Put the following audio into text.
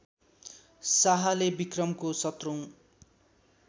शाहले विक्रमको १७ औँ